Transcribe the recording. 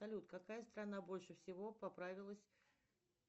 салют какая страна больше всего поправилась